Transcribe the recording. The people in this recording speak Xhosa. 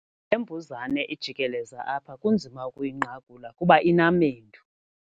Le mbuzane ijikeleza apha kunzima ukuyinqakula kuba inamendu.